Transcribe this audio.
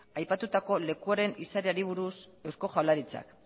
aipatutako lekuaren izaerari buruz eusko jaurlaritzak